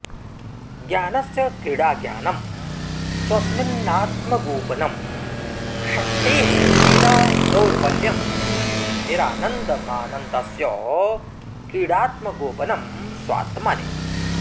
ज्ञानस्य क्रीडाज्ञानं स्वस्मिन्नात्मगोपनं शक्तेः क्रीडा दौर्बल्यं निरानन्दमानन्दस्य क्रीडात्मगोपनं स्वात्मनि